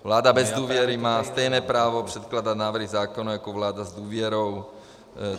Vláda bez důvěry má stejné právo předkládat návrhy zákona jako vláda s důvěrou.